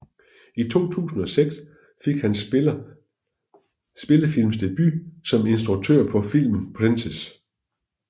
I 2006 fik han spillefilmsdebut som instruktør på filmen Princess